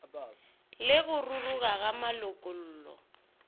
le go ruruga ga malokollo